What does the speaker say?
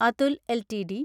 Atul LTD